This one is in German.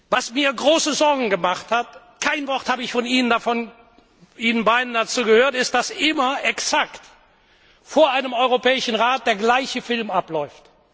Was mir große Sorgen gemacht hat dazu habe ich von Ihnen beiden kein Wort gehört ist, dass immer exakt vor einem Europäischen Rat der gleiche Film abläuft.